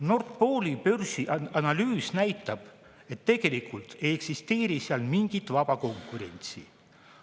Nord Pooli börsi analüüs näitab, et tegelikult ei eksisteeri seal mingit vaba konkurentsi.